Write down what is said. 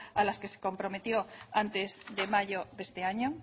a las que se comprometió antes de mayo de este año